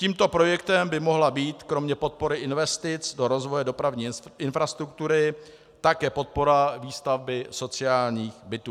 Tímto projektem by mohla být kromě podpory investic do rozvoje dopravní infrastruktury také podpora výstavby sociálních bytů.